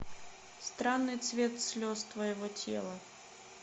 странный цвет слез твоего тела